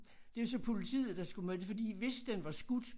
Det jo så politiet der skulle med det fordi hvis den var skudt